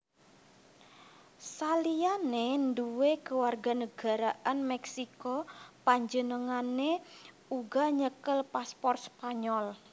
Saliyané nduwé kewarganagaraan Meksiko panjenengané uga nyekel paspor Spanyol